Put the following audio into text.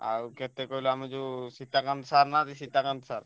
ଆଉ କେତେ କହିଲୁ ଆମର ଯଉ ସୀତକାନ୍ତ ସାର ନାହାନ୍ତି ସୀତାକାନ୍ତ ସାର।